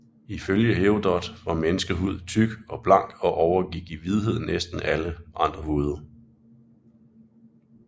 Ifølge Herodot var menneskehud tyk og blank og overgik i hvidhed næsten alle andre huder